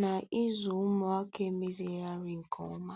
na ịzụ ụmụaka emezigharịrị nke ọma.